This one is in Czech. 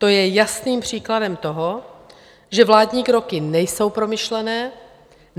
To je jasným příkladem toho, že vládní kroky nejsou promyšlené.